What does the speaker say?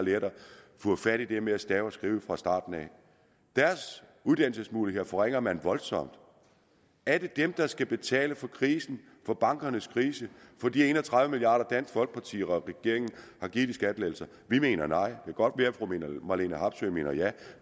fået fat i det med at stave og skrive fra starten af deres uddannelsesmuligheder forringer man voldsomt er det dem der skal betale for krisen for bankernes krise for de en og tredive milliard kr dansk folkeparti og regeringen har givet i skattelettelser vi mener nej kan godt være fru marlene harpsøe mener ja